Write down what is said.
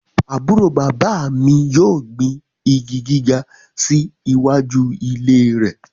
Aburo baba mi yoo gbin igi giga si iwaju ile rẹ